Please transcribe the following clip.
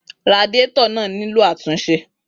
Radiator náà nílò àtúnṣe.